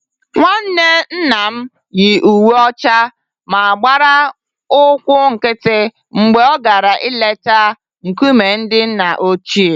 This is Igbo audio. Nwanne nnam yi uwe ọcha ma gbara ụkwụ nkịtị mgbe ọ gara leta nkume ndị nna ochie